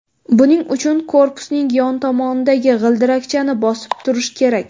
Buning uchun korpusning yon tomonidagi g‘ildirakchani bosib turish kerak.